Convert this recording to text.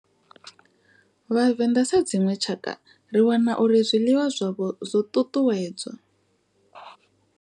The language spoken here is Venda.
Vhavenḓa sa dzinwe tshakha ri wana uri zwiḽiwa zwavho zwo ṱuṱuwedzwa.